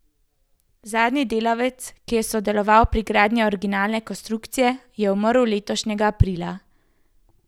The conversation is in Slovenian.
Zadnji delavec, ki je sodeloval pri gradnji originalne konstrukcije, je umrl letošnjega aprila.